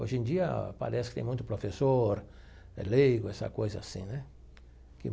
Hoje em dia parece que tem muito professor, é leigo, essa coisa assim, né que?